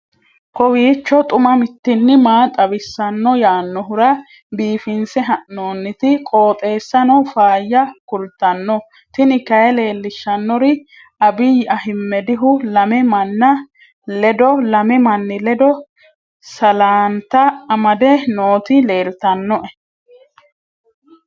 kowiicho xuma mtini maa xawissanno yaannohura biifinse haa'noonniti qooxeessano faayya kultanno tini kayi leellishshannori abiyyi ahimedihu lamu manni ledo salaanta amadde nooti leeltannoe